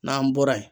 N'an bɔra yen